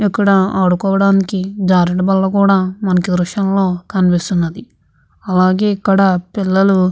ఇక్కడ ఆడుకోవడానికి జారుడు బల్లలు కూడా మనకి ఈ దృశ్యంలో కనిపిస్తుంది అలాగే ఇక్కడ పిల్లలు --